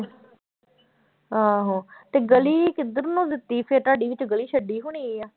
ਆਹੋ ਤੇ ਗਲੀ ਕਿੱਧਰ ਨੂੰ ਦਿੱਤੀ ਫਿਰ ਤੁਹਾਡੀ ਵਿੱਚ ਗਲੀ ਛੱਡੀ ਹੋਣੀ ਆਂ।